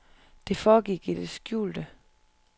Det foregik i det skjulte.